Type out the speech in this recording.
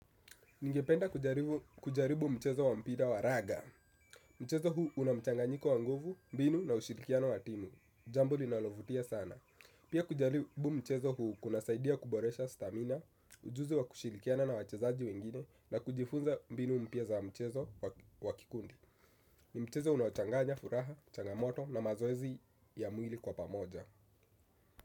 Ningependa kujaribu mchezo wa mpira wa raga. Mchezo huu una mchanganyiko wa nguvu, mbinu na ushirikiano wa timu. Jambo linalovutia sana. Pia kujaribu mchezo huu kunasaidia kuboresha stamina, ujuzi wa kushirikiana na wachezaji wengine na kujifunza mbinu mpya za mchezo wa kikundi. Ni mchezo unaochanganya furaha, changamoto na mazoezi ya mwili kwa pamoja.